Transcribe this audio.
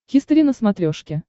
хистори на смотрешке